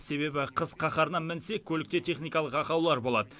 себебі қыс қаһарына мінсе көлікте техникалық ақаулар болады